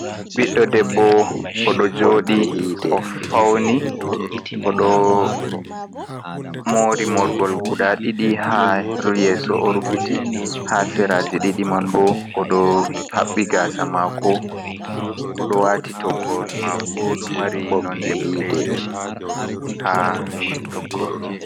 Biɗdo debbo odo jodi o fauni odo mori morgol guda ɗidi ,ha rul yeso o rufiti ha seraje didi man bo odo habbi gasa mako odo wati toggol mako do mari nonde bodejum ha toggol man.